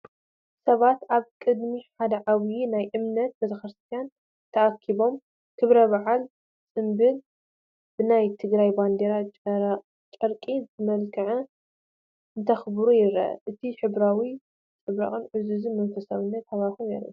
ሰባት ኣብ ቅድሚ ሓደ ዓብይ ናይ እምነት ቤተክርስትያና ተኣኪቦም ክብረ በዓል/ጽምብል ብናይ ትግራይ ባንዴራ ጨርቂ ዝመልከዐን እንተኽብሩ ይረአ። ነቲ ሕብራዊ ፅባቐን ዕዙዝን መንፈሳዊነትን ሃዋህው የርኢ።